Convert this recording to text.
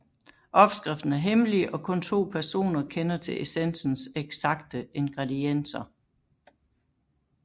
Opskriften er hemmelig og kun to personer kender til essensens eksakte ingredienser